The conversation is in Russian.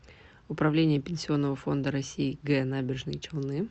управление пенсионного фонда россии г набережные челны